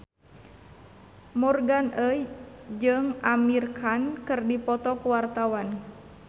Morgan Oey jeung Amir Khan keur dipoto ku wartawan